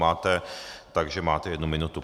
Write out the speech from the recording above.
Máte, takže máte jednu minutu.